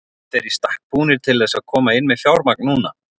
Eru þeir í stakk búnir til þess að koma inn með fjármagn núna?